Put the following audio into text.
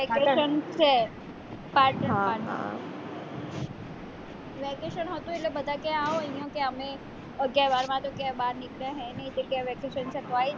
vacation છે vacation હતું એટલે બધા કે આવ અહીંયા કે અમે અગિયાર બારમા તો ક્યાંય બાર નીકળહે નઈ તો અત્યારે vacation છે તો આય ને